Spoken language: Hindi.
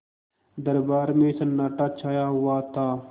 दरबार में सन्नाटा छाया हुआ था